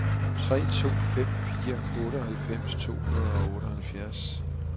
tre to fem fire otteoghalvfems to hundrede og otteoghalvfjerds